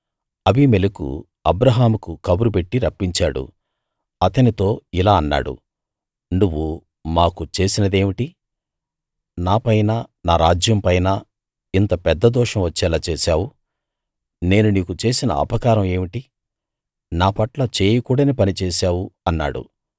అబీమెలెకు అబ్రాహాముకు కబురు పెట్టి రప్పించాడు అతనితో ఇలా అన్నాడు నువ్వు మాకు చేసినదేమిటి నాపైనా నా రాజ్యం పైనా ఇంత పెద్ద దోషం వచ్చేలా చేశావు నేను నీకు చేసిన అపకారం ఏమిటి నా పట్ల చేయకూడని పని చేశావు అన్నాడు